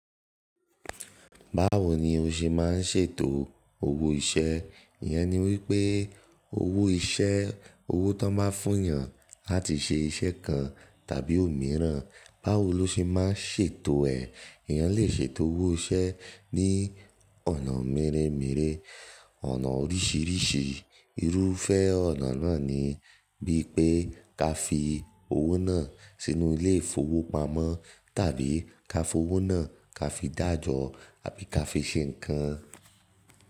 Báwo ni o ṣe ma ń ṣètò owó iṣẹ́? Ìyẹn ni wípé owó iṣẹ́, owó tán ba fún yàn láti ṣe iṣẹ́ kan tàbí òmíràn, báwo lo ṣe ma ń ṣètò ẹ̀? Èèyàn lè ṣe ètò owó iṣẹ́ ní ọ̀nà mèremère, ọ̀nà oríṣìíríṣìí. Irúfẹ́ ọ̀nà náà ni bí pé ká fi owó náà sínú ilé ìfowópamọ́ tàbí ká fowó náà ká fi dájọ àbí ká fi ṣe nǹkan.